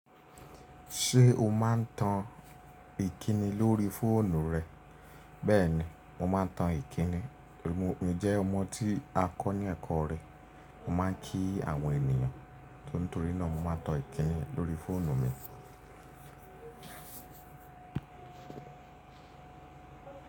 Ṣé o máa ń tan ìkíni lórí fóònù rẹ? Bẹ́ẹ̀ni, mo máa ń tan ìkíni. Mo n jẹ́ ọmọ tí a kọ́ ní ẹ̀kọ́ irẹ. Mo máa ń kí àwọn ènìyàn, so nítorí náà mo máa ń tan ìkíni lórí fóònù mi.